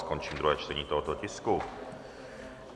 Končím druhé čtení tohoto tisku.